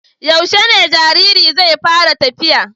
Yaushe ne jaririn zai fara tafiya?